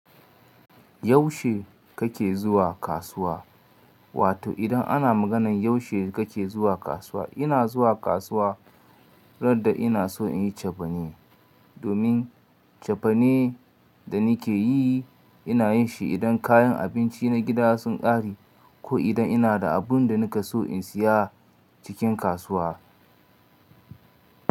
Yaushe kake zuwa kasuwa? Wato idan ana maganan yaushe kake zuwa kasuwa, ina zuwa kasuwa raddda ina so inyi cefane. Domin cefane da nikeyi inayanshi idan kayan abinci na gida sun ƙare ko idan ina da abun da nika so in siya cikin kasuwa.